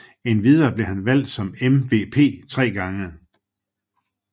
Endvidere blev han valgt som MVP tre gange